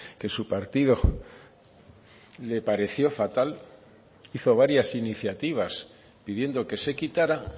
que su partido le pareció fatal hizo varias iniciativas pidiendo que se quitara